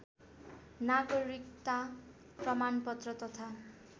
नागरिकता प्रमाणपत्र तथा